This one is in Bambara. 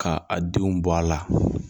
Ka a denw bɔ a la